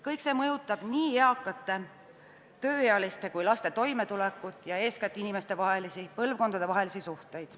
Kõik see mõjutab nii eakate, tööealiste kui ka laste toimetulekut ja eeskätt inimestevahelisi, põlvkondadevahelisi suhteid.